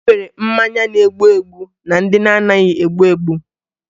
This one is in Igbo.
E nwere mmanya na-egbu egbu na ndị na-anaghị egbu egbu